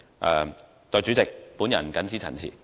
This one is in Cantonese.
代理主席，我謹此陳辭。